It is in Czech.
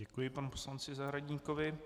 Děkuji panu poslanci Zahradníkovi.